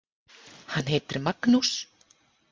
Hann heitir Magnús.